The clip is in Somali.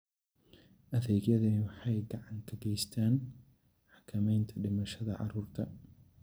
Adeegyadani waxay gacan ka geystaan ??xakamaynta dhimashada carruurta.